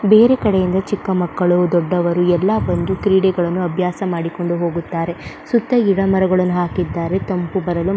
ಬೇರೆ ಕಡೆಯಿಂದ ಚಿಕ್ಕ ಮಕ್ಕಳು ದೊಡ್ಡವರು ಕ್ರೀಡೆಗಳನ್ನು ಅಭ್ಯಾಸ ಮಾಡಿಕೊಂಡು ಹೋಗುತ್ತಾರೆ ಸುತ್ತ ಗಿಡ ಮರಗಳನ್ನು ಹಾಕಿದ್ದಾರೆ ತಂಪು ಬರಲು --